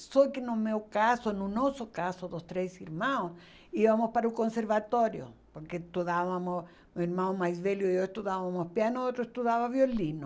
Só que no meu caso, no nosso caso, dos três irmãos, íamos para o conservatório, porque estudávamos, o irmão mais velho e eu estudávamos piano, o outro estudava violino.